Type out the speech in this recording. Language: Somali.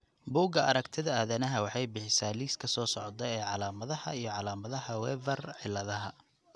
Bugaa aragtida aDdanaha waxay bixisaa liiska soo socda ee calaamadaha iyo calaamadaha Weaver ciladha.